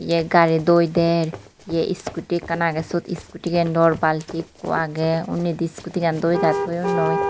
tay gari doi der ye skooti ekkan agey siyot skootigen dor balti ikko agey undi di skootigen doi dai toyonnoi.